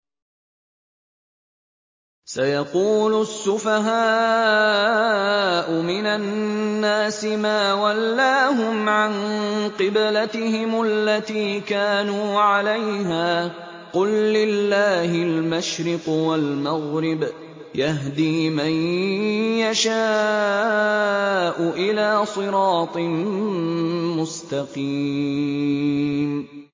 ۞ سَيَقُولُ السُّفَهَاءُ مِنَ النَّاسِ مَا وَلَّاهُمْ عَن قِبْلَتِهِمُ الَّتِي كَانُوا عَلَيْهَا ۚ قُل لِّلَّهِ الْمَشْرِقُ وَالْمَغْرِبُ ۚ يَهْدِي مَن يَشَاءُ إِلَىٰ صِرَاطٍ مُّسْتَقِيمٍ